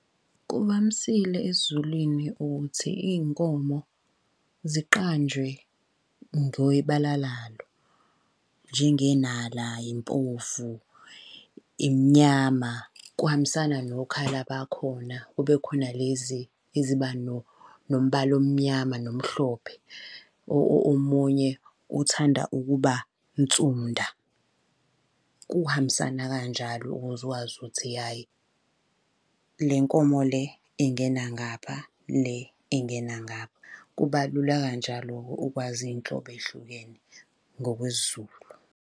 Kuvamisile esiZulwini ukuthi iy'nkomo ziqanjwe ngebala lalo. Njengenala, impofu, imnyama, kuhambisana nokhala bakhona. Kube khona lezi eziba nombala omnyama nomhlophe. Omunye othanda ukuba nsunda. Kuhambisana kanjalo ukuze wazi ukuthi hhayi le nkomo le ingena ngapha, le ingena ngapha. Kuba lula kanjalo-ke ukwazi iy'nhlobo ey'hlukene ngokwesiZulu.